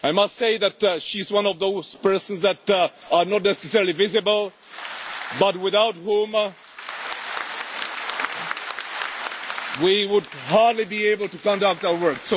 I must say that she is one of those persons who are not necessarily visible but without whom we would hardly be able to conduct our work.